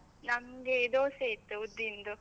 ನಮ್ಗೆ ದೋಸೆ ಇತ್ತು ಉದ್ದಿನ್ದು.